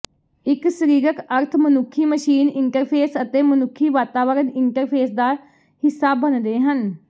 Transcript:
ਇਹ ਸਰੀਰਕ ਅਰਥ ਮਨੁੱਖੀ ਮਸ਼ੀਨ ਇੰਟਰਫੇਸ ਅਤੇ ਮਨੁੱਖੀ ਵਾਤਾਵਰਨ ਇੰਟਰਫੇਸ ਦਾ ਹਿੱਸਾ ਬਣਦੇ ਹਨ